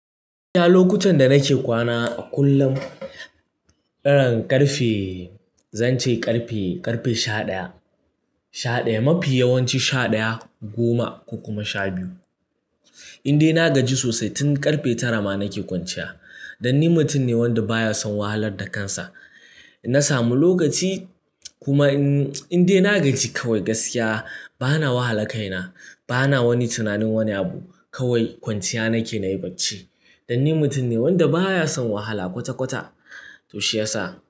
Iya lokutan da nake kwana a kullum, irin ƙarfe zan ce ƙarfe, ƙarfe sha ɗaya. Sha ɗaya, mafi yawanci sha ɗaya, goma ko kuma sha biyu. In dai na gaji sosai tun ƙarfe tara ma nake kwanciya. Don ni mutum ne wanda baya son wahalar da kansa. Na samu lokaci kuma in dai na gaji kawai gaskiya bana wahala kaina, bana wani tunanin wani abu kawai kwanciya nake nayi bacci. Dan ni mutum ne wanda baya son wahala kwata-kwata to shiyasa.